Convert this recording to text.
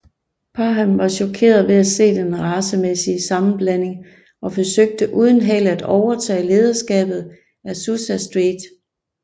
Parham var chokeret ved at se den racemæssige sammenblanding og forsøgte uden held at overtage lederskabet af Azusa Street